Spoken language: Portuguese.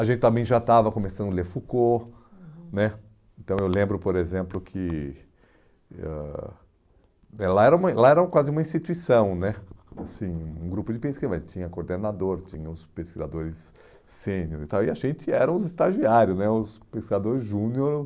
A gente também já estava começando a ler Foucault, uhum, né, então eu lembro, por exemplo, que ãh né lá era uma lá era quase uma instituição né, assim um grupo de pesquisa, mas tinha coordenador, tinha os pesquisadores sêniores e tal, e a gente era os estagiários né, os pesquisadores júnior